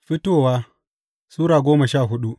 Fitowa Sura goma sha hudu